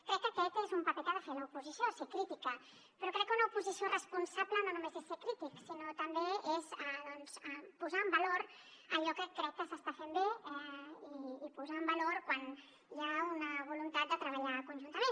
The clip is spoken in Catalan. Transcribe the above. crec que aquest és un paper que ha de fer l’oposició ser crítica però crec que una oposició responsable no només és ser crític sinó que també és posar en valor allò que crec que s’està fent bé i posar en valor quan hi ha una voluntat de treballar conjuntament